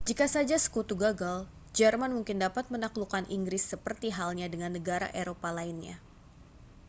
jika saja sekutu gagal jerman mungkin dapat menaklukkan inggris seperti halnya dengan negara eropa lainnya